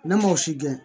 Ne ma o si gɛn